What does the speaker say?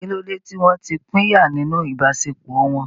Kí ló dé tí wọ́n ti pínyà nínú ìbáṣepọ̀ wọn?